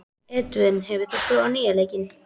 Edvin, hefur þú prófað nýja leikinn?